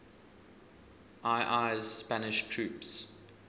ii's spanish troops